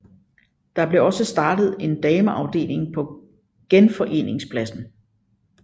Der blev også startet en dameafdeling på Genforeningspladsen